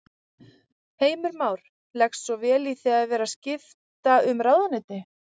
Heimir Már: Leggst vel í þig að vera skipta um ráðuneyti?